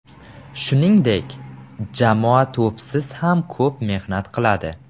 Shuningdek, jamoa to‘psiz ham ko‘p mehnat qiladi.